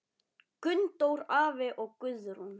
Gunndór afi og Guðrún.